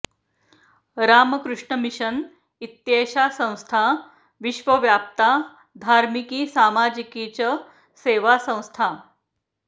Ramakrishna mission इत्येषा संस्था विश्वव्याप्ता धार्मिकी सामाजिकी च सेवासंस्था